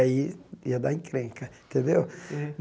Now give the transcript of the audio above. Aí ia dar encrenca, tendeu?